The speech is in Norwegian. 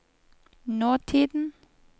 nåtiden